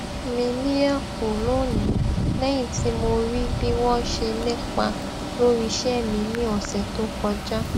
mi níyà kù lónìí lẹyìn tí mo rí bí wọn ṣe nípa lórí iṣẹ mi ní ọsẹ tó kọjá